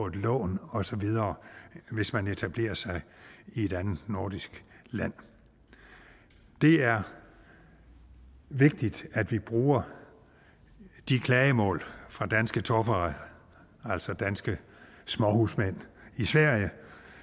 et lån osv hvis man etablerer sig i et andet nordisk land det er vigtigt at vi bruger de klagemål fra danske torpare altså danske småhusmænd i sverige